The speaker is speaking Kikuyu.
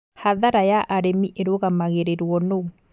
Hathara ya arĩmi ĩrũgamagĩrĩrwo nũũ?